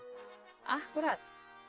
akkúrat